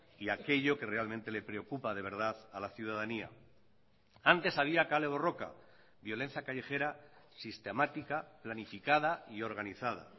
y aquello que realmente le preocupa de verdad a la ciudadanía antes había kale borroka violencia callejera sistemática planificada y organizada